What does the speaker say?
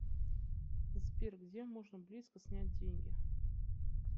сбер где можно близко снять деньги